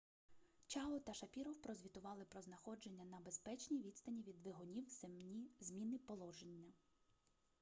чао та шапіров прозвітували про знаходження на безпечній відстані від двигунів зміни положення